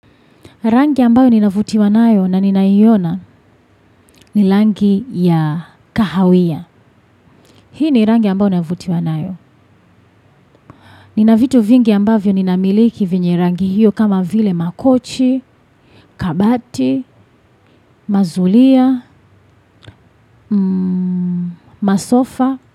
Rangi ambayo ninavutiwa nayo na ninaiona ni rangi ya kahawia. Hii ni rangi ambayo nayovutiwa nayo. Nina vitu vingi ambavyo ninamiliki vyenye rangi hiyo kama vile makochi, kabati, mazulia, masofa.